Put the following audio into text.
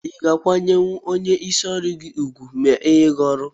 iga akwanye onye isi ọrụgi ugwu ma enye gi ọrụ?